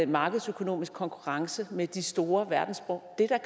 markedsøkonomisk konkurrence med de store verdenssprog det er da